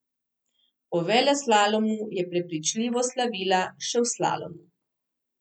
Po veleslalomu je prepričljivo slavila še v slalomu.